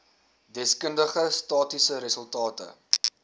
deskundige statistiese resultate